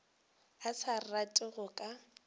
a sa rate go ka